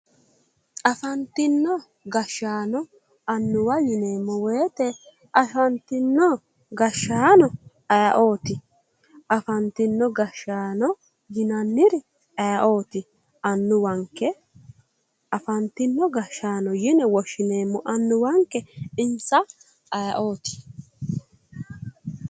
Afantino gashshaano annuwwa yineemmo woyite afantino gashshaano ayeooti? Afantino gashshaano yinanniri ayeooti? Annuwwanke afantino gashshaano yine woshshineemmo annuwwanke insa ayeooti?